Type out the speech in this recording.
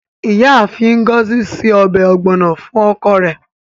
Iyaafin Ngozi se ọbẹ ogbono fun oko re